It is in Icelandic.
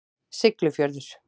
Siglufjörður